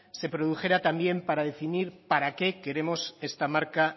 se produjera también para definir para qué queremos esta marca